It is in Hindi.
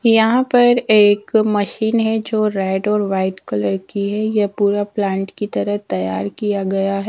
यहां पर एक मशीन है जो रेड और वाइट कलर की है ये पूरा प्लांट की तरह तैयार किया गया है।